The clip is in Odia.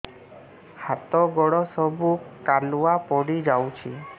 ହାତ ଗୋଡ ସବୁ କାଲୁଆ ପଡି ଯାଉଛି